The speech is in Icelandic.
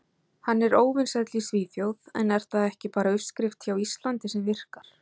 Hann er óvinsæll í Svíþjóð en er það ekki bara uppskrift hjá Íslandi sem virkar?